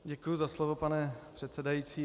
Děkuji za slovo, pane předsedající.